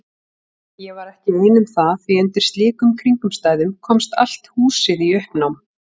Ég var ekki ein um það því undir slíkum kringumstæðum komst allt húsið í uppnám.